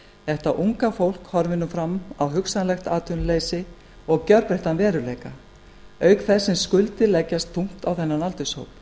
þetta unga fólk horfir nú fram á hugsanlegt atvinnuleysi og gjörbreyttan veruleika auk þess sem skuldir leggjast þungt á þennan aldurshóp